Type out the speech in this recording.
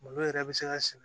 Malo yɛrɛ bɛ se ka sɛnɛ